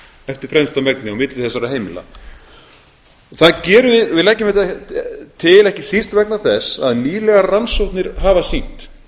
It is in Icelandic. eftir fremsta megni á milli þessara heimila við leggjum þetta til ekki síst vegna þess að nýlegar rannsóknir hafa sýnt